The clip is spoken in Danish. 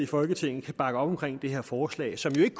folketinget kan bakke op omkring det her forslag som ikke